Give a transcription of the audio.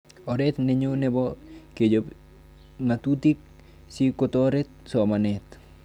Oret nenyo nepo kechop ng'atutik si kotoret somanet